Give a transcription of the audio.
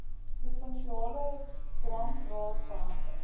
provinsiale drankraad behartig